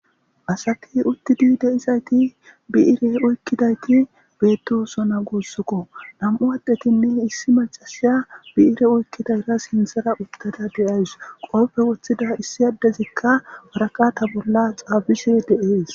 asati uttidi deizayti bi7ire oykkidayti beettosona guossukko nam7u adhetinne issi macasiya bi7ire oykkidayra sinthara uttada deays qooppe woththida issi addezikka waraqa ta bolla xaabise deees